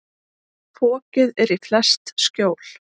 Fokið er í flest skjól.